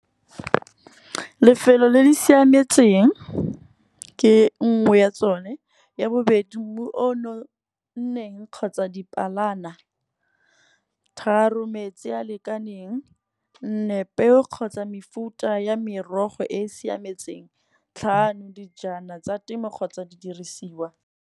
Lefelo le le siametseng ke nngwe ya tsone ya bobedi mmu o nonneng kgotsa dipalana. Tharo metsi a lekaneng kgotsa mefuta ya merogo e e siametseng. Tlhano dijana tsa temo kgotsa di dirisiwa.